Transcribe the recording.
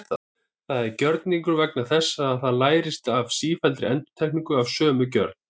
Það er gjörningur vegna þess að það lærist af sífelldri endurtekningu af sömu gjörð.